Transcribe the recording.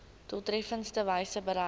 doeltreffendste wyse bereik